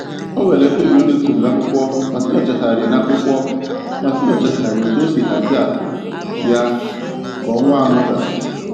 O nwere mkpebi o deturu n'akwụkwọ maka inyochagharị n'akwụkwọ maka inyochagharị otu o si hazie akụ ya ka ọnwa anọ a gasịrị